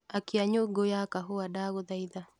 akia nyũngũ ya kahũa ndagũthaitha